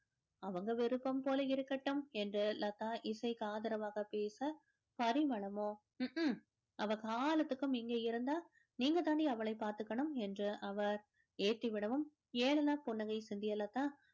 அவங்க விருப்பம் போல இருக்கட்டும் என்று லதா இசைக்கு ஆதரவாக பேச அவ காலத்துக்கும் இங்கே இருந்தா நீங்க தான்டி அவளை பார்த்துக்கணும் என்று அவர் ஏத்தி விடவும் ஏளன புன்னகை சிந்திய லதா